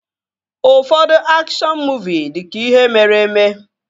Ụfọdụ akshọn muuvi dị ka ihe mere eme